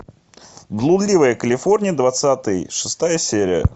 блудливая калифорния двадцатый шестая серия